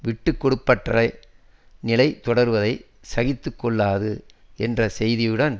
விட்டு கொடுப்பற்ற நிலை தொடர்வதை சகித்து கொள்ளாது என்ற செய்தியுடன்